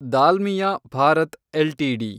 Dalmia Bharat LTD